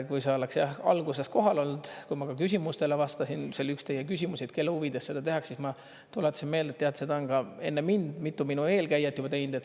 Kui sa oleks alguses kohal olnud, kui ma ka küsimustele vastasin, see oli üks teie küsimus, kelle huvides seda tehakse, siis ma tuletasin meelde, et tead, seda on ka enne mind mitu minu eelkäijat juba teinud.